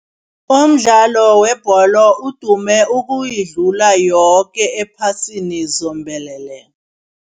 Umdlalo webholo udume ukuyidlula yoke ephasini zombelele.